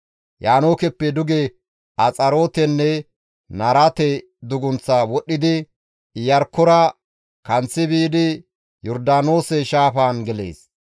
Yaanookeppe duge Axarootenne Naarate dugunththaa wodhdhidi Iyarkkora kanththi biidi Yordaanoose shaafaan gelees.